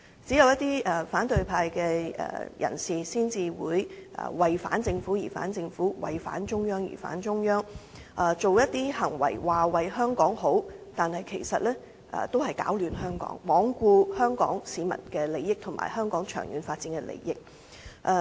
只有一些反對派的人士才會"為反政府而反政府"、"為反中央而反中央"，口說為香港好，但其實是在攪亂香港，罔顧香港市民的利益及香港的長遠發展。